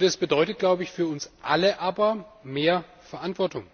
Es bedeutet für uns alle aber mehr Verantwortung.